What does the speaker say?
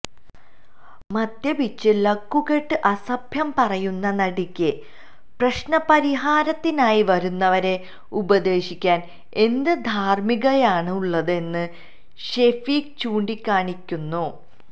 മദ്യപിച്ച് ലക്കുകെട്ട് അസഭ്യം പറയുന്ന നടിക്ക് പ്രശ്ന പരിഹാരത്തിനായി വരുന്നവരെ ഉപദേശിക്കാന് എന്ത് ധാര്മ്മീകതയാണുള്ളതെന്നും ഷെഫീക്ക് ചൂണ്ടിക്കാണിക്കുന്നു